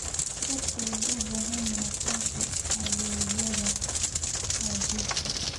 Dadku waxay u baahan yihiin aqoonsi adeegyada gaadiidka.